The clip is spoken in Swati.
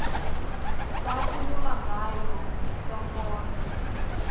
lakhuluma ngayo sonkondlo